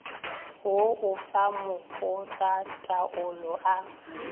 wo o fa makgotlataolo a